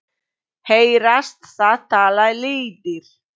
Heyrast það tala lýðir.